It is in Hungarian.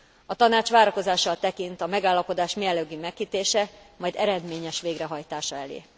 A Tanács várakozással tekint a megállapodás mielőbbi megkötése, majd eredményes végrehajtása elé.